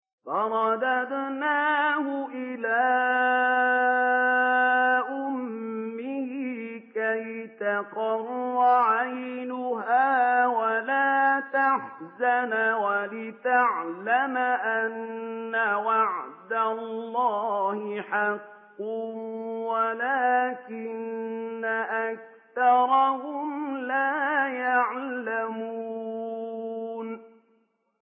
فَرَدَدْنَاهُ إِلَىٰ أُمِّهِ كَيْ تَقَرَّ عَيْنُهَا وَلَا تَحْزَنَ وَلِتَعْلَمَ أَنَّ وَعْدَ اللَّهِ حَقٌّ وَلَٰكِنَّ أَكْثَرَهُمْ لَا يَعْلَمُونَ